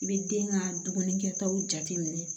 I bɛ den ka dumunikɛtaw jateminɛ